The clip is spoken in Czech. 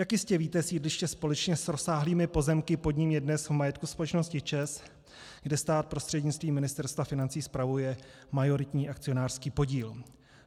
Jak jistě víte, sídliště společně s rozsáhlými pozemky pod ním je dnes v majetku společnosti ČEZ, kde stát prostřednictvím Ministerstva financí spravuje majoritní akcionářský podíl.